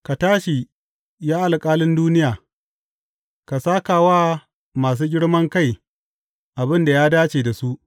Ka tashi, ya Alƙalin duniya; ka sāka wa masu girman kai abin da ya dace da su.